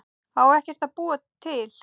Á ekkert að búa til?